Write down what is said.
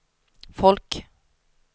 folk